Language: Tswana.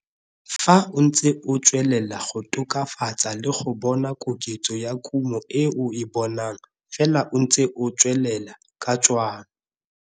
Fa o ntse o tswelela go tokafatsa le go bona koketso ya kumo e o e bonang fela o ntse o tswelela ka tshwanno.